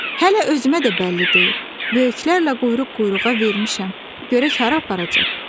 Hələ özümə də bəlli deyil, böyüklərlə quyruq-quyruğa vermişəm, görək hara aparacaq?